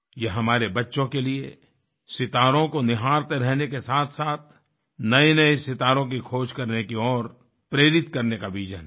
यह हमारे बच्चों के लिए सितारों को निहारते रहने के साथसाथ नएनए सितारों की खोज करने की ओर प्रेरित करने का विजन है